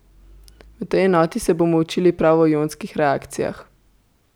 V tej enoti se bomo učili prav o ionskih reakcijah.